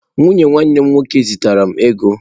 Nwunye nwanne m nwoke zitere m ego.